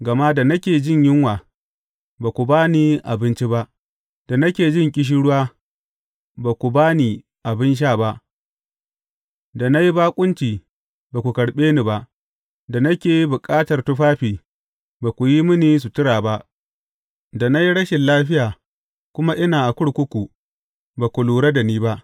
Gama da nake jin yunwa, ba ku ba ni abinci ba, da nake jin ƙishirwa, ba ku ba ni abin sha ba, da na yi baƙunci, ba ku karɓe ni ba, da nake bukatar tufafi, ba ku yi mini sutura ba, da na yi rashin lafiya kuma ina a kurkuku, ba ku lura da ni ba.’